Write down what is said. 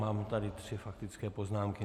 Mám tady tři faktické poznámky.